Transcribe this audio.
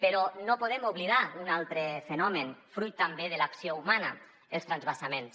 però no podem oblidar un altre fenomen fruit també de l’acció humana els transvasaments